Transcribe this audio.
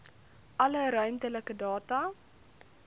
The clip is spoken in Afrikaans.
alle ruimtelike data